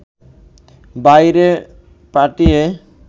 বাইরে পাঠিয়ে